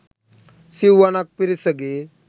සිවුවනක් පිරිසගේ